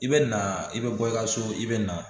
I bɛ na i bɛ bɔ i ka so i bɛ na